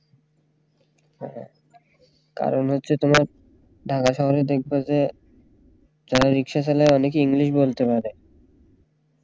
হ্যাঁ হ্যাঁ কারণ হচ্ছে তোমার ঢাকা শহরে দেখবে যে যারা রিক্সা চালায় অনেকেই english বলতে পারে